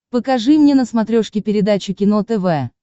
покажи мне на смотрешке передачу кино тв